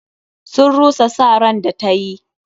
Sun rusa sa ran da ta yi.